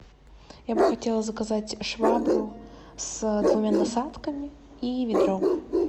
я бы хотела заказать швабру с двумя насадками и ведро